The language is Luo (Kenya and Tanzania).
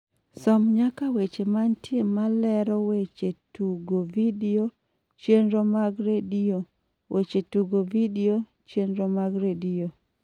som nyaka weche mantie malero weche tugo vidio chenro mag redio weche tugo vidio chenro mag redio